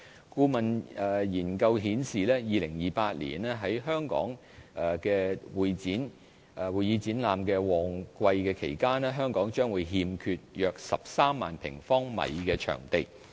顧問研究顯示 ，2028 年於會議展覽旺季期間，香港將欠缺約13萬平方米的場地。